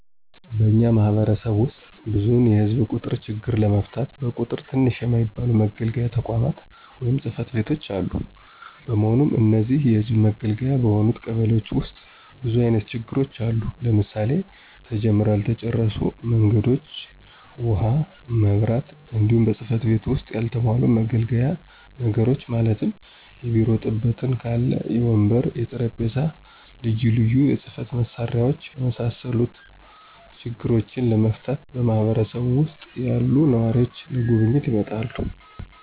በእኛ ማህበረሰብ ዉስጥ ብዙዉን የህዝብ ቁጥር ችግር ለመፍታት በቁጥር ትንሽ የማይባሉ መገልገያ ተቋማት(ፅ/ቤቶች)አሉ። በመሆኑም እነዚህን የህዝብ መገልገያ በሆኑት ቀበሌዎች ዉስጥ ብዙ አይነት ችግሮች አሉ; ለምሳሌ፦ ተጀምረዉ ያልተጨረሱ መንገዶች፣ ዉሀ፣ መብራት፣ እንዲሁም በፅ/ቤቱ ዉስጥ ያልተሟሉ መገልገያ ነገሮችን ማለትም; የቢሮ ጥበትም ካለ, የወንበር፣ የጠረምጴዛ፣ ልዩ ልዩ የፅ/መሳሪያዎች የመሳሰሉ ችግሮችን ለመፍታት በማህበረሰብ ዉሰጥ ያሉ ነዋሪዎች ለጉብኝት ይመጣሉ።